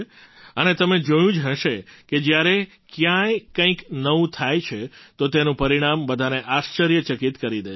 અને તમે જોયું જ હશે કે જ્યારે ક્યાંય કંઈક નવું થાય છે તો તેનું પરિણામ બધાને આશ્ચર્યચકિત કરી દે છે